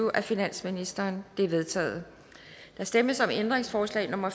af finansministeren de er vedtaget der stemmes om ændringsforslag nummer